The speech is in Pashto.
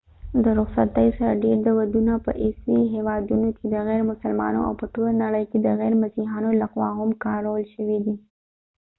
د رخصتۍ سره ډیر دودونه په عیسوي هیوادونو کې د غير مسلمانو او په ټوله نړۍ کې د غیر مسیحیانو لخوا هم کارول شوي دي